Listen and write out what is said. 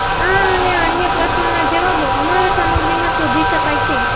આ અને અન્ય પ્રશ્નોના જવાબો અમારા સામગ્રી માં શોધી શકાય છે